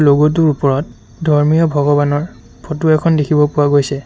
Logo টোৰ ওপৰত ধৰ্মীয় ভগৱানৰ ফটো এখন দেখিব পোৱা গৈছে।